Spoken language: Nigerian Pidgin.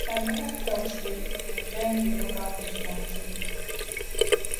my broda tok sey im join di local vigilantee group for here